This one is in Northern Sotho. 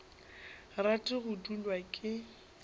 rate go dulwa ke nt